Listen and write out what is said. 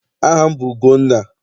Aha m bụ Ugonna.